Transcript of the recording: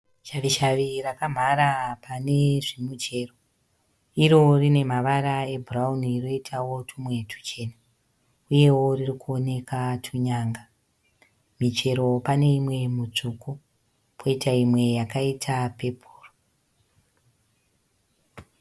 Shavishavi rakamhara pane zvimichero. Iro rine mavara ebhurauni roitawo tumwe tuchena. Uyewo ririkuoneka tunyanga. Michero pane imwe mitsvuku koita imwe yakaita pepuru.